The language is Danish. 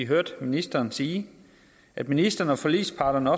hørt ministeren sige at ministeren og forligsparterne